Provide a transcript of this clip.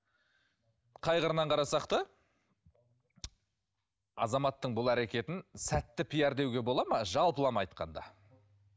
қай қырынан қарасақ та азаматтың бұл әрекетін сәтті пиар деуге бола ма жалпылама айтқанда